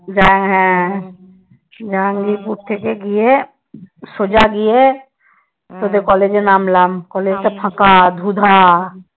হ্যাঁ হ্যাঁ জাহাঙ্গীরপুর থেকে গিয়ে সোজা গিয়ে তোদের কলেজে নামলাম কলেজটা ফাঁকা ধুঁ ধাঁ।